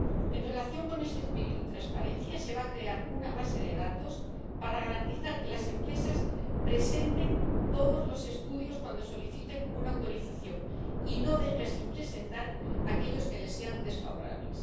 En relación con este espíritu de transparencia, se va a crear una base de datos para garantizar que las empresas presenten todos los estudios cuando soliciten una autorización y no dejen sin presentar aquellos que les sean desfavorables.